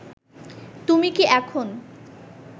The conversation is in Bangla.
তুমি কী এখন